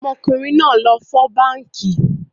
Ọmọkùnrin náà lọ fọ́ báànkì